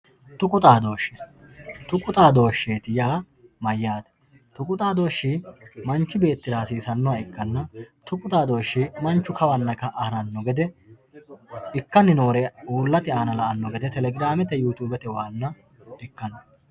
tuqu xadooshshe tuqu xaadooshsheeti yaa mayyaate tuqu xaadooshshi manchi beettira hasiisannoha ikkanna tuqu xaadooshshi manchu kawanna ka'a haranno gede ikkanni noore uullate aana la'anno gede telegiramete yutuubetewanna ikkanno gedeeti